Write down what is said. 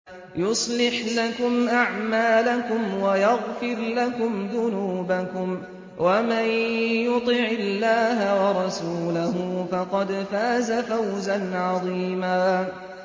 يُصْلِحْ لَكُمْ أَعْمَالَكُمْ وَيَغْفِرْ لَكُمْ ذُنُوبَكُمْ ۗ وَمَن يُطِعِ اللَّهَ وَرَسُولَهُ فَقَدْ فَازَ فَوْزًا عَظِيمًا